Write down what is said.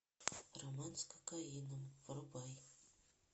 роман с кокаином врубай